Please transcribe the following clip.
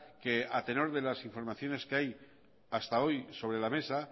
que a tenor de las informaciones que hay hasta hoy sobre la mesa